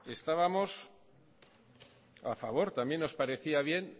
estábamos a favor también nos parecía bien